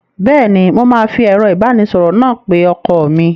Bẹ́ẹ́ni, mo máa fi ẹ̀rọ ìbánisọ̀rọ̀ náà pe ọkọ mi.